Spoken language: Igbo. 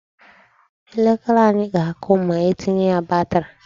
Elekere anyị ga-akụ ma etinye ya batri.